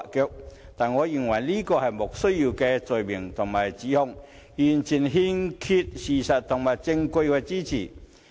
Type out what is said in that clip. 然而，我認為這是"莫須有"的罪名和指控，完全欠缺事實和證據的支持。